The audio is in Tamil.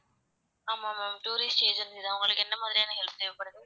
ஆமா ma'am tourist agency தான் உங்ககளுக்கு என்ன மாதிரியான help தேவைப்படுது?